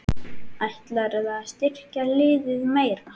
Ætlarðu að styrkja liðið meira?